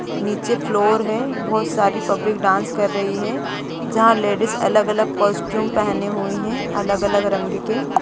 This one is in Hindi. नीचे फ्लोर है बहुत सारी पब्लिक डांस कर रही है जहाँ पर लेडिज अलग अलग कॉस्टयूम पेहने हुई है अलग-अलग रंग के।